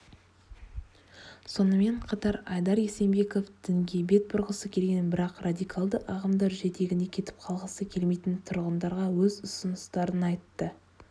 сонымен қатар айдар есенбеков дінге бет бұрғысы келген бірақ радикалды ағымдар жетегінде кетіп қалғысы келмейтін тұрғындарға өз ұсыныстарын айтты